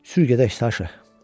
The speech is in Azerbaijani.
Sür gedək Saşa.